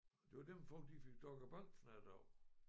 Det var dem folk de fik doggerbankefnat af